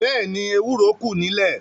Bẹ́ẹ̀ni, ewúro kù nílé.